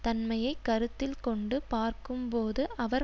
தன்மையை கருத்தில் கொண்டு பார்க்கும் போது அவர்